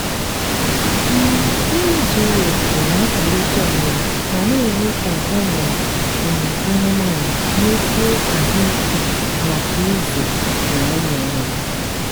um nri zuru oke na-akwalite ọmụmụ ma na-eme ka ụmụ um anụmanụ nwekwuo ahụike maka ịzụ na ịmụ nwa